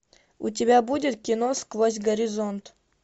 у тебя будет кино сквозь горизонт